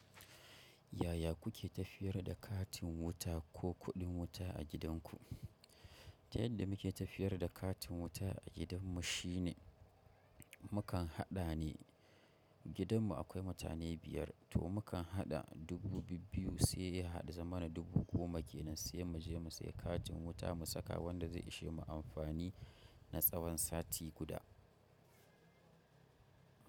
Yaya kuke tafiyar da katin wuta ko kuɗin wuta a gidanku? Ta yadda muke tafiyar da katin wuta a gidanmu shine mukan haɗa ne. Gidanmu akwai mutane biyar to mukan haɗa dubu bibbiyu sai ya haɗu ya zamana dubu goma kenan sai mu je mu sayi katin wuta mu saka wanda zai ishe mu amfani na tsawon sati guda.